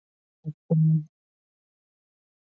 En þá bjargaði